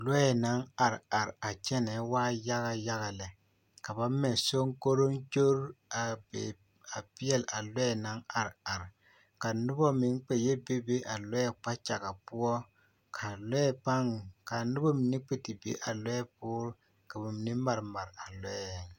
Lɔɛ naŋ are are a kyɛnɛɛ waa yaga yaga lɛ ka ba mɛ soŋkoroŋkori a peɛle a lɔɛ naŋ are are ka noba meŋ kpɛ yɛ bebe a lɔɛ kpakyaga poɔ ka lɔɛ pãã, ka noba mine kpɛ te be a lɔɛ poore ka bamine mare mare a lɔɛŋ.